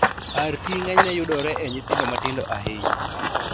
RT ng'enyne yudore e nyithindo matindo ahinya